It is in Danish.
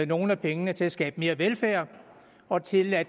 nogle af pengene til at skabe mere velfærd og til at